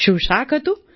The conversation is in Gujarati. શું શાક હતું